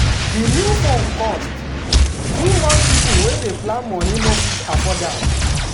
the new phone cost too much people wey dey plan money no fit afford am.